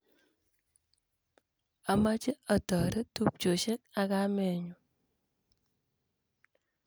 Amoche atoret tupchoshe ak kamenyu